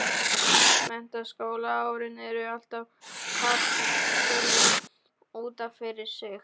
Menntaskólaárin eru alltaf kapítuli út af fyrir sig.